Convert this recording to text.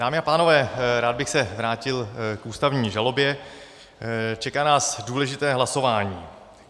Dámy a pánové, rád bych se vrátil k ústavní žalobě, čeká nás důležité hlasování.